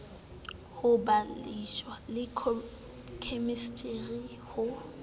ho bayoloji le khemistri ho